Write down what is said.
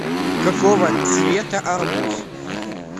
какого цвета арбуз